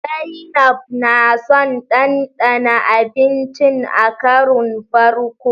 Zainab na son ɗanɗana abincin a karon farko.